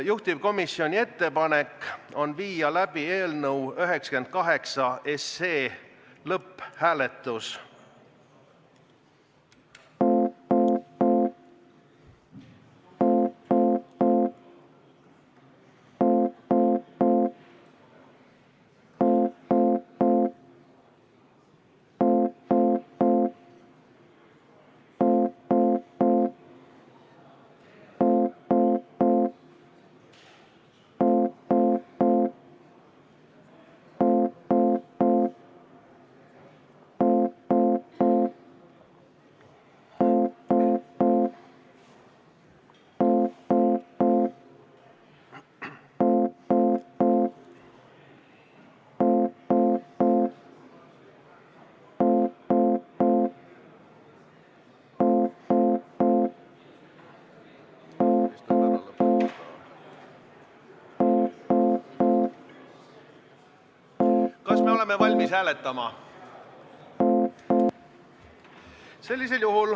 Juhtivkomisjoni ettepanek on viia läbi eelnõu 98 lõpphääletus.